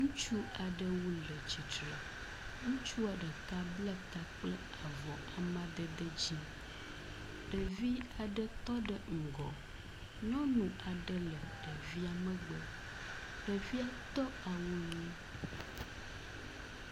Ŋutsu aɖewo le tsitre. Ŋutsu aɖeka ble ta kple avɔ amadde dzi. Ɖevi aɖe tɔ ɖe ŋgɔ. Nyɔnu aɖe le ɖevia megbe. Ɖevia do awu ʋi.